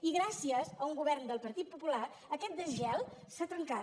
i gràcies a un govern del partit popular aquest desgel s’ha trencat